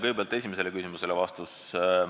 Kõigepealt vastus esimesele küsimusele.